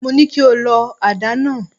Mo ní kí o lọ àdá náà.!